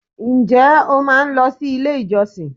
Ǹ jé o máa n lo si ilé ìjọsìn